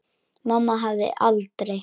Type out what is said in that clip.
Mamma hefði aldrei.